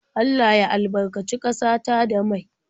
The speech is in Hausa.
Allah ya albarkaci ƙasa ta da mai.